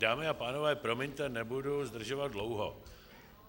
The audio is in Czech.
Dámy a pánové, promiňte, nebudu zdržovat dlouho.